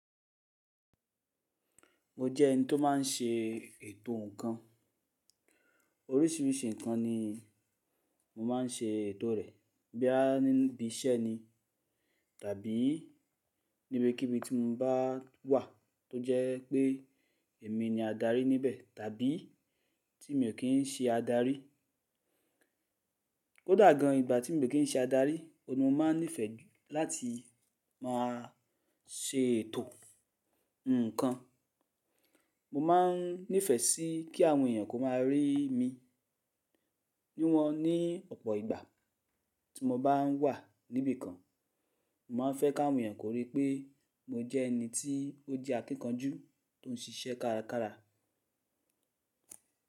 Mo jẹ́ ẹni tó má n ṣe ètò ǹkan. Oríṣiríṣi ǹkan ni mo má n ṣe ètò rẹ̀. Bí a níbi iṣẹ́ ni tàbí níbèkíbi tí mo bá wà tó jẹ́ pé èmi ni adarí níbẹ̀ tàbí tí mi ò kín ń ṣe adarí. Ó dà gan ìgbà tí mi ò kín ń ṣe adarí, ọ̀ mo má nífẹ̀ẹ́ láti máa ṣe ètò ǹkan. Mo má nífẹ̀ẹ́ sí kí àwọn èèyàn kó má a rí mi, bí wọ́n ní ọ̀pọ̀ ìgbà tí mo bá ǹ wà níbi kan. Mo má a fẹ́ kí àwọn èèyàn kó rí pé mo jẹ́ ẹni tí ó jẹ́ akíkanjú tó ń ṣiṣẹ́ kárakára.